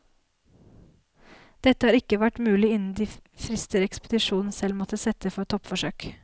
Dette har ikke vært mulig innen de frister ekspedisjonen selv måtte sette for toppforsøk.